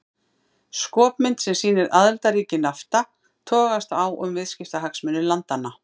Skopmynd sem sýnir aðildarríki Nafta togast á um viðskiptahagsmuni landanna.